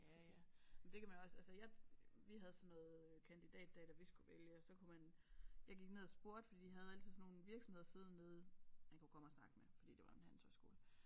Ja ja men det kan man jo også altså jeg vi havde sådan noget kandidatdag da vi skulle vælge og så kunne man jeg gik ned og spurgte for de havde altid sådan nogle virksomheder siddende nede man kunne komme og snakke med fordi det var en handelshøjskole